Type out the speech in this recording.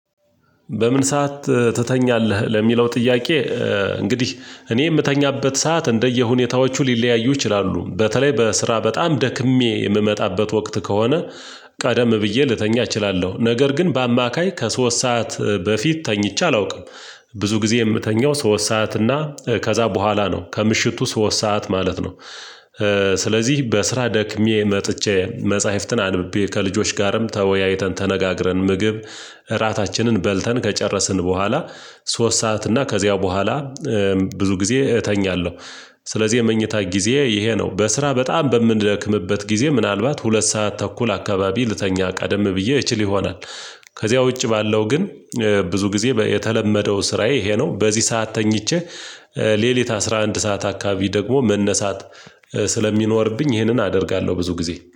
"በምን ሰዓት ትተኛለህ?" ለሚለው ጥያቄ፤ እንግዲህ እኔ የምተኛበት ሰዓት እንደየሁኔታዎቹ ሊለያዩ ይችላሉ። በተለይ በስራ በጣም ደክሜ የምመጣበት ወቅት ከሆነ "በምን ሰዓት ትተኛለህ?" ለሚለው ጥያቄ፤ እንግዲህ እኔ የምተኛበት ሰዓት እንደየሁኔታዎቹ ሊለያዩ ይችላሉ። በተለይ በስራ በጣም ደክሜ የምመጣበት ወቅት ከሆነ ስለዚህ በስራ ደክሜ መጥቼ መጽሐፍትን አንብቤ ከልጆች ጋርም ተወያይተን ተነጋግረን ምግብ እራታችንን በልተን ከጨረስን በኋላ ሶስት ሰዓት እና ከዚያው በኋላ ብዙ ጊዜ እተኛለሁ። ስለዚህ የመኝታ ጊዜዬ ይሄ ነው። በስራ በጣም በምንደክምበት ጊዜ ምናልባት ሁለት ሰዓት ተኩል አካባቢ ልተኛ ቀደም ብዬ እችል ይሆናል። ከዚያ ውጪ ባለው ግን ብዙ ጊዜ የተለመደው ስራዬ ይሄ ነው። በዚህ ሰዓት ተኝቼ ሌሊት አስራ አንድ ሰዓት አካባቢ ደግሞ መነሳት ስለሚኖርብኝ ይህንን አደርጋለሁ ብዙ ጊዜ።